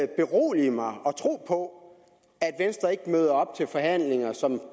berolige mig og tro på at venstre ikke møder op til forhandlinger som